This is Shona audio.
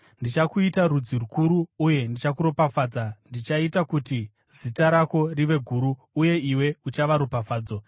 “Ndichakuita rudzi rukuru uye ndichakuropafadza; ndichaita kuti zita rako rive guru, uye iwe uchava ropafadzo.